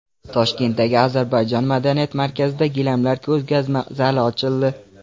Toshkentdagi Ozarbayjon madaniyat markazida gilamlar ko‘rgazma zali ochildi .